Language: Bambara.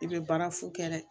I bɛ baara fu kɛ dɛ